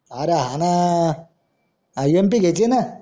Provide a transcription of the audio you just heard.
अरे हाना empty घेयचे ना